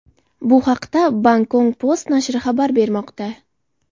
Bu haqda Bangkok Post nashri xabar bermoqda .